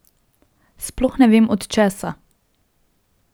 Sploh ne vem, od česa.